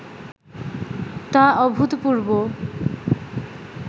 তা অভূতপূর্ব